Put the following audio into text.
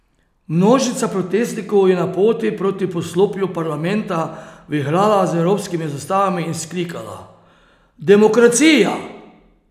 Množica protestnikov je na poti proti poslopju parlamenta vihrala z evropskimi zastavami in vzklikala: "Demokracija!